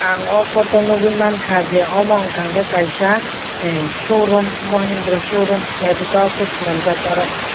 ang o poto o nogoi mangka je amo wngka ke kaisa eh showroom mahendra showroom naitotok ke selamjak.